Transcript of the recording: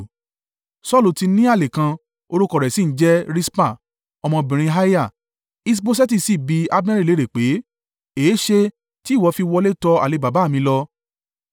Saulu ti ní àlè kan, orúkọ rẹ̀ sì ń jẹ́ Rispa, ọmọbìnrin Aiah: Iṣboṣeti sì bi Abneri léèrè pé, “Èéṣe tí ìwọ fi wọlé tọ àlè baba mi lọ.”